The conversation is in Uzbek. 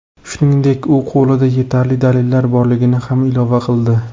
Shuningdek, u qo‘lida yetarli dalillar borligini ham ilova qildi.